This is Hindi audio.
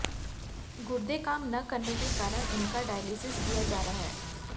गुर्दे काम न करने के कारण उनका डायलिसिस किया जा रहा है